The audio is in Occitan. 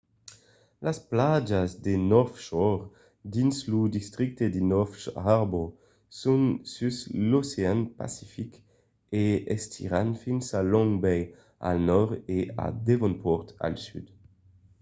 las plajas de north shore dins lo districte de north harbour son sus l'ocean pacific e s'estiran fins a long bay al nòrd e a devonport al sud